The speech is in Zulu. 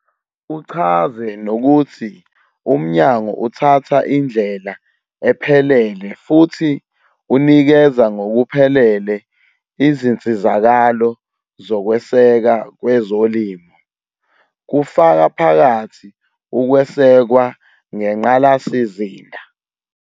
Uchaze nokuthi umnyango uthatha indlela ephelele futhi unikeza ngokuphelele izinsizakalo zokweseka kwezolimo, kufaka phakathi ukwesekwa ngengqalasizinda.